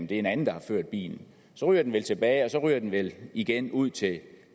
det er en anden der har ført bilen så ryger det vel tilbage og så ryger det vel igen ud til